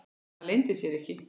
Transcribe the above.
Það leyndi sér ekki.